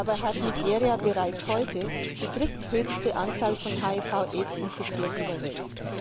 Dabei hat Nigeria bereits heute die dritthöchste Anzahl von HIV Aids Infizierten der Welt.